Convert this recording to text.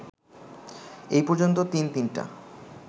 এই পর্যন্ত তিন তিনটা